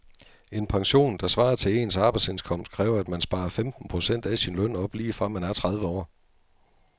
En pension, der svarer til ens arbejdsindkomst, kræver at man sparer femten procent af sin løn op lige fra man er tredive år.